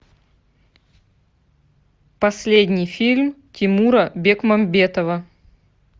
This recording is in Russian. последний фильм тимура бекмамбетова